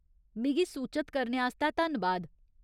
मिगी सूचत करने आस्तै धन्नबाद।